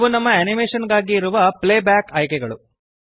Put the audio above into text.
ಇವು ನಮ್ಮ ಅನಿಮೇಶನ್ ಗಾಗಿ ಇರುವ ಪ್ಲೇಬ್ಯಾಕ್ ಆಯ್ಕೆಗಳು